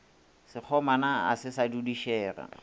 sekgomana a se sa dudišega